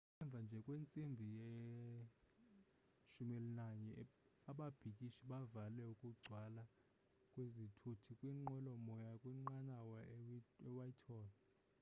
emva nje kwentsimbi ye-11 00 ababhikishi bavale ukugcwala kwezithuthi kwinqwelomoya kwinqanawa ewhitehall